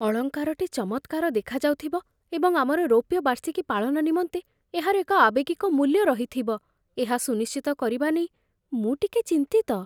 ଅଳଙ୍କାରଟି ଚମତ୍କାର ଦେଖାଯାଉଥିବ ଏବଂ ଆମର ରୌପ୍ୟ ବାର୍ଷିକୀ ପାଳନ ନିମନ୍ତେ ଏହାର ଏକ ଆବେଗିକ ମୂଲ୍ୟ ରହିଥିବ, ଏହା ସୁନିଶ୍ଚିତ କରିବା ନେଇ ମୁଁ ଟିକେ ଚିନ୍ତିତ